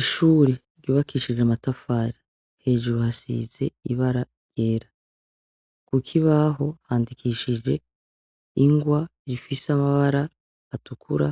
Ishure ryubakishije amatafara hejuru hasize ibara ryera ku kibaho handikishije ingwa jifise amabara atukura